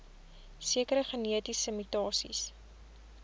sekere genetiese mutasies